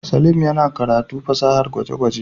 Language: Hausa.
Saleem yana karatu fasahar gwaje-gwaje.